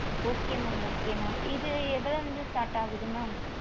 okay mam okay mam இது எவளோ இருந்து start ஆகுது mam